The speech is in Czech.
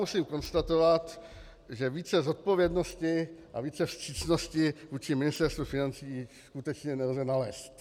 Musím konstatovat, že více zodpovědnosti a více vstřícnosti vůči Ministerstvu financí skutečně nelze nalézt.